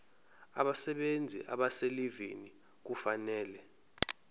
abasebenzi abaselivini kufanele